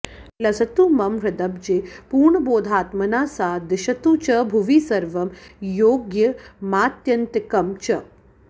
लसतु मम हृदब्जे पूर्णबोधात्मना सा दिशतु च भुवि सर्वं योग्यमात्यन्तिकं च